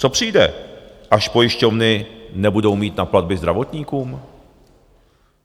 Co přijde, až pojišťovny nebudou mít na platby zdravotníkům?